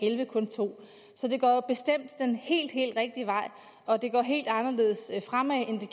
elleve kun to så det går jo bestemt den helt helt rigtige vej og det går helt anderledes fremad end